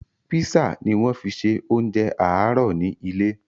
Písà ni wọ́n fi ṣe oúnjẹ àárọ̀ ni ilé